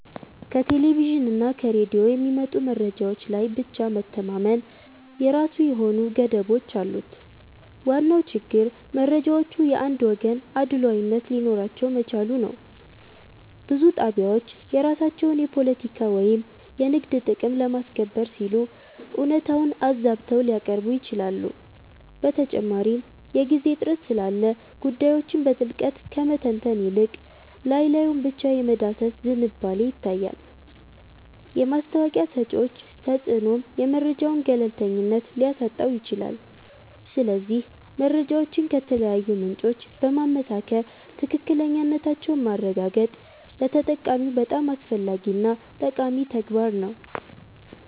ከቴሌቪዥንና ከሬዲዮ የሚመጡ መረጃዎች ላይ ብቻ መተማመን የራሱ የሆኑ ገደቦች አሉት። ዋናው ችግር መረጃዎቹ የአንድ ወገን አድሏዊነት ሊኖራቸው መቻሉ ነው። ብዙ ጣቢያዎች የራሳቸውን የፖለቲካ ወይም የንግድ ጥቅም ለማስከበር ሲሉ እውነታውን አዛብተው ሊያቀርቡ ይችላሉ። በተጨማሪም የጊዜ እጥረት ስላለ ጉዳዮችን በጥልቀት ከመተንተን ይልቅ ላይ ላዩን ብቻ የመዳሰስ ዝንባሌ ይታያል። የማስታወቂያ ሰጪዎች ተጽዕኖም የመረጃውን ገለልተኝነት ሊያሳጣው ይችላል። ስለዚህ መረጃዎችን ከተለያዩ ምንጮች በማመሳከር ትክክለኛነታቸውን ማረጋገጥ ለተጠቃሚው በጣም አስፈላጊና ጠቃሚ ተግባር ነው